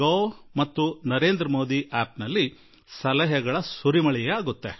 in ನಲ್ಲಿ ಅಥವಾ Narendra Modi App ನಲ್ಲಿ ಅನೇಕಾನೇಕ ಸಲಹೆಗಳು ಬರುತ್ತವೆ